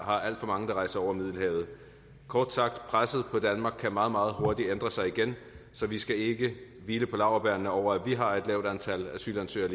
har alt for mange der rejser over middelhavet kort sagt presset på danmark kan meget meget hurtigt ændre sig igen så vi skal ikke hvile på laurbærrene over at vi har et lavt antal asylansøgere